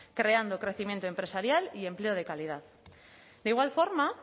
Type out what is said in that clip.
creando crecimiento empresarial y empleo de calidad de igual forma